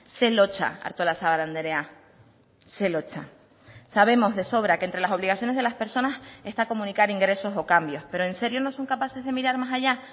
ze lotsa artolazabal andrea ze lotsa sabemos de sobra que entre las obligaciones de las personas está comunicar ingresos o cambios pero en serio no son capaces de mirar más allá